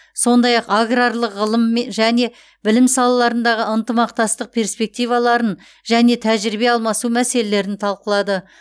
сондай ақ аграрлық ғылым және білім салаларындағы ынтымақтастық перспективаларын және тәжірибе алмасу мәселелерін талқылады